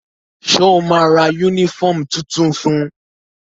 Sọ ma ra yúnífọ̀mù tuntun fun?